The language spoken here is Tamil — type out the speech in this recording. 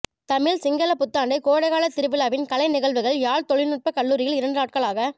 தமிழ் சிங்களப் புத்தாண்டு கோடைகாலத் திருவிழாவின் கலை நிகழ்வுகள் யாழ் தொழில்நுட்பக் கல்லூரியில் இரண்டு நாட்களாக